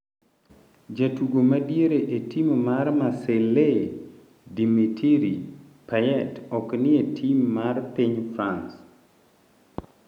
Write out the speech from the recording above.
Jatugo madiere e tim mar Marseille Dimitri Payet ok ni e tim mar piny France.